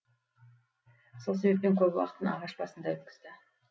сол себептен көп уақытын ағаш басында өткізді